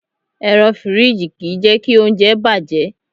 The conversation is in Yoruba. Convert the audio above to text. Ẹ̀rọ fìríjì kì í jẹ́kí oúnjẹ bàjẹ́.